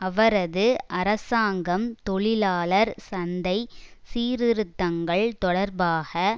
அவரது அரசாங்கம் தொழிலாளர் சந்தை சீர்திருத்தங்கள் தொடர்பாக